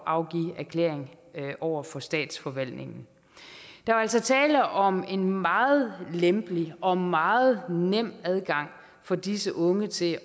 at afgive erklæring over for statsforvaltningen der var altså tale om en meget lempelig og meget nem adgang for disse unge til